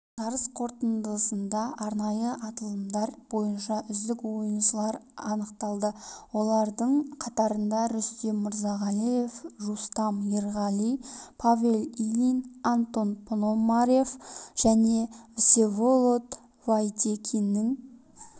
жарыс қорытындысында арнайы аталымдар бойынша үздік ойыншылар анықталды олардың қатарында рүстем мұрзағалиев рустам ерғали павел ильин антон пономарев және всеволод фадейкиннің